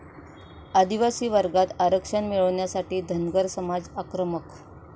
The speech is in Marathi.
आदिवासी वर्गात आरक्षण मिळवण्यासाठी धनगर समाज आक्रमक